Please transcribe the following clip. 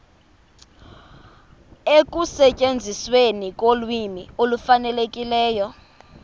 ekusetyenzisweni kolwimi olufanelekileyo